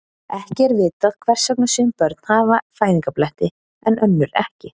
Ekki er vitað hvers vegna sum börn hafa fæðingarbletti en önnur ekki.